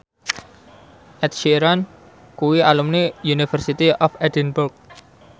Ed Sheeran kuwi alumni University of Edinburgh